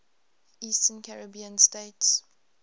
eastern caribbean states